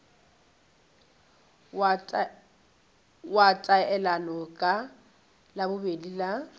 wa taelano ka labobedi la